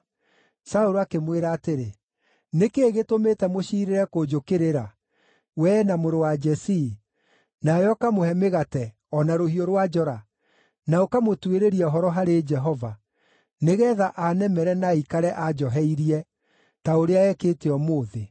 Saũlũ akĩmwĩra atĩrĩ, “Nĩ kĩĩ gĩtũmĩte mũciirĩre kũnjũkĩrĩra, wee na mũrũ wa Jesii, nawe ũkamũhe mĩgate, o na rũhiũ rwa njora, na ũkamũtuĩrĩria ũhoro harĩ Jehova, nĩgeetha aanemere na aikare anjoheirie, ta ũrĩa ekĩte ũmũthĩ?”